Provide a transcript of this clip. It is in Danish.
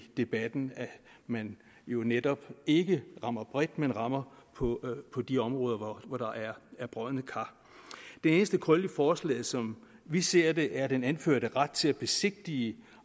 debatten at man jo netop ikke rammer bredt men rammer på på de områder hvor der er brodne kar den eneste krølle i forslaget som vi ser det er den anførte ret til at besigtige